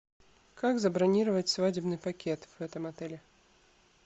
как забронировать свадебный пакет в этом отеле